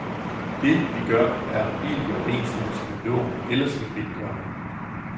Det, vi gør, er helt i overensstemmelse med loven, ellers ville vi ikke gøre det.